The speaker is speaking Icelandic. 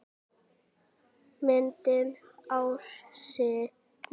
Myndir ársins